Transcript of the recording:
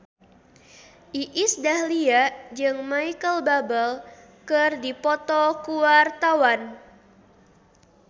Iis Dahlia jeung Micheal Bubble keur dipoto ku wartawan